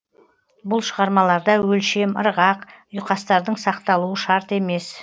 бұл шығармаларда өлшем ырғақ ұйқастардың сақталуы шарт емес